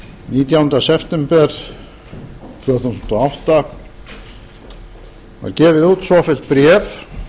hinn á september tvö þúsund og átta var gefið út svofellt bréf